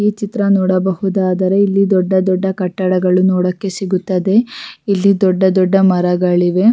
ಈ ಚಿತ್ರ ನೋಡಬಹುದಾದರೆ ಇಲ್ಲಿ ದೊಡ್ಡ ದೊಡ್ಡ ಕಟ್ಟಡಗಳು ನೋಡಲು ಸಿಗುತ್ತದೆ ಇಲ್ಲಿ ದೊಡ್ಡ ದೊಡ್ಡ ಮರಗಳಿವೆ.